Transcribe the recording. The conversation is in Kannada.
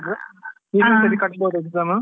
ಇನ್ನೊಂದ್ ಸರ್ತಿ ಕಟ್ಬಾದಾ exam ಉ.